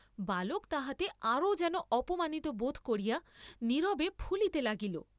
বালক তাহাতে আরও যেন অপমানিত বোধ করিয়া নীরবে ফুলিতে লাগিল।